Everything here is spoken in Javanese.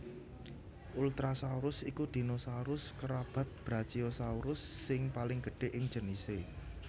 Ultrasaurus iku dinosaurus kerabat Brachiosaurus sing paling gedhé ing jenisé